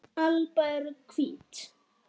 alba eru hvít.